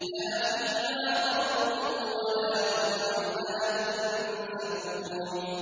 لَا فِيهَا غَوْلٌ وَلَا هُمْ عَنْهَا يُنزَفُونَ